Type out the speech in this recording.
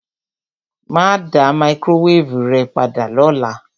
Mà á dá máíkrówévù rẹ padà lọ́la.